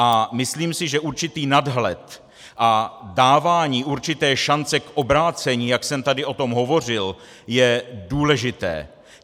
A myslím si, že určitý nadhled a dávání určité šance k obrácení, jak jsem tady o tom hovořil, je důležité.